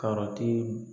Karɔti